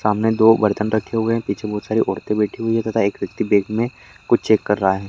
सामने दो बर्तन रखे हुए हैं पीछे बहुत सारी औरतें बैठी हुई है तथा एक व्यक्ति बेग में कुछ चेक कर रहा है।